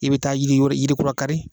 I bɛ taa yiri yiri kura kari.